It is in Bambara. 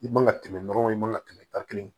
I man ka tɛmɛ dɔrɔn i man ka tɛmɛ tan kelen